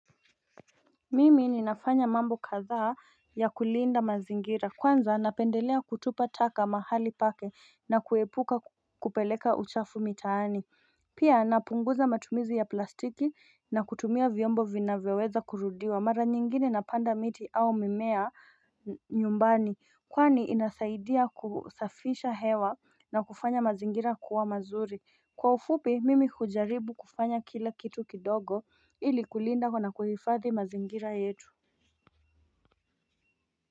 Mimi ninafanya mambo kadhaa ya kulinda mazingira kwanza napendelea kutupa taka mahali pake na kuepuka kupeleka uchafu mitaani Pia napunguza matumizu ya plastiki na kutumia vyombo vinaweweza kurudiwa mara nyingine napanda miti au mimea nyumbani kwani inasaidia kusafisha hewa na kufanya mazingira kuwa mazuri Kwa ufupi mimi kujaribu kufanya kila kitu kidogo ili kulinda kuna kuhifathi mazingira yetu.